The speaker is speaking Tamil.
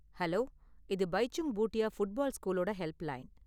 ஹலோ, இது பைச்சுங் பூட்டியா ஃபுட்பால் ஸ்கூலோட ஹெல்ப்லைன்.